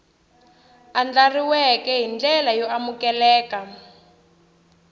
andlariweke hi ndlela yo amukeleka